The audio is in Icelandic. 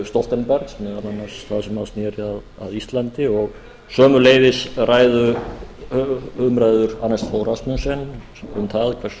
stoltenbergs meðal annars á sem sneri að íslandi og sömuleiðis umræður anders fod rasmussens um það hversu